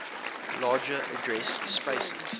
larger address spaces